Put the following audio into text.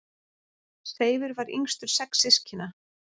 Seifur var yngstur sex systkina.